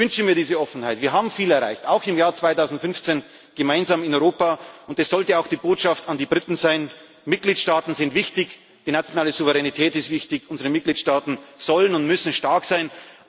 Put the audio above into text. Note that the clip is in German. Ich wünsche mir diese Offenheit. Wir haben viel erreicht, auch im Jahr 2015, gemeinsam in Europa. Und das sollte auch die Botschaft an die Briten sein Mitgliedstaaten sind wichtig, die nationale Souveränität ist wichtig, unsere Mitgliedstaaten sollen und müssen stark